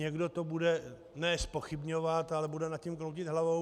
Někdo to bude ne zpochybňovat, ale bude nad tím kroutit hlavou.